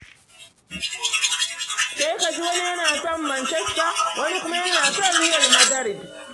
Sai ka ji wani yana son Mancasta, wani kuma yana son Riyal Madarid.